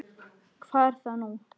Hvað er það nú?